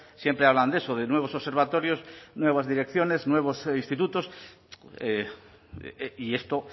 siempre hablan de eso de nuevos observatorios nuevas direcciones nuevos institutos y esto